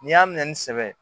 N'i y'a minɛ ni sɛbɛ ye